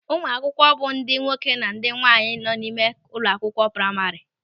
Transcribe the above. Ụmụ akwụkwọ bụ ndị nwoke na ndị nwaanyị nọ n'ime ụlọakwụkwọ praima.